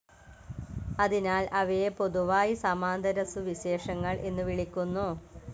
അതിനാൽ അവയെ പൊതുവായി സമാന്തരസുവിശേഷങ്ങൾ എന്നു വിളിക്കുന്നു.